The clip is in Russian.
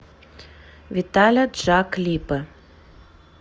виталя джа клипы